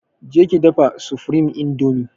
Je ki dafa supreme indomie!